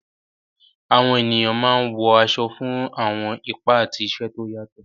Àwọn ènìyàn máa ń wọ aṣọ fún àwọn ipa àti iṣẹ́ tó yàtọ̀.